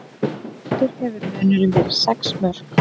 Mestur hefur munurinn verið sex mörk